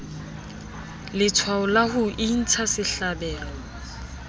letshwao la ho intsha sehlabelo